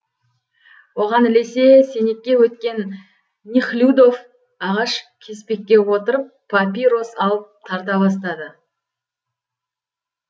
оған ілесе сенекке өткен нехлюдов ағаш кеспекке отырып папирос алып тарта бастады